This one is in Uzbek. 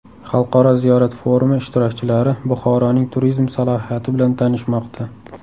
Xalqaro ziyorat forumi ishtirokchilari Buxoroning turizm salohiyati bilan tanishmoqda.